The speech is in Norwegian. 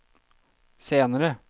senere